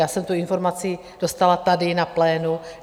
Já jsem tu informaci dostala tady na plénu.